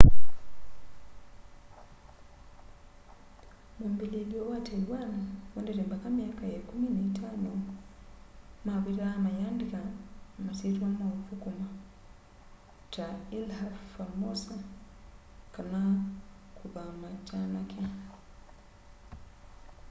mwambĩlĩlyo wa taiwan wendete mbaka myaka ya ĩkũmĩ na itano mavitaa mayĩandĩka maswĩtwa ma ũthũkũma ta ilha formosa kana kũthama kyanake